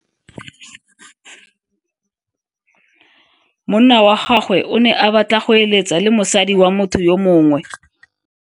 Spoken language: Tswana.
Monna wa gagwe o ne a batla go êlêtsa le mosadi wa motho yo mongwe.